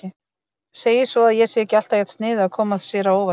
Segir svo að ég sé alltaf jafn sniðug að koma sér á óvart.